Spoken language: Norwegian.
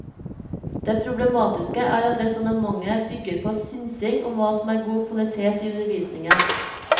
Det problematiske er at resonnementet bygger på synsing om hva som er god kvalitet i undervisningen.